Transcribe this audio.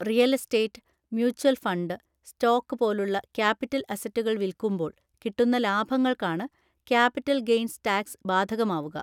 Real estate, mutual fund, stock പോലുള്ള capital അസറ്റുകൾ വിൽക്കുമ്പോൾ കിട്ടുന്ന ലാഭങ്ങൾക്കാണ് ക്യാപിറ്റൽ ഗെയ്ൻസ് ടാക്സ് ബാധകമാവുക.